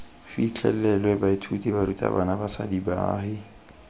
fitlhelelwe baithuti barutabana basadi baagi